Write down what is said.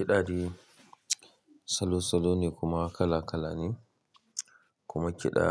Kiɗa dai salo-salo ne kuma kala-kala ne, kuma kiɗa